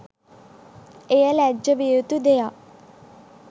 එය ලැජ්ජා වියයුතු දෙයක්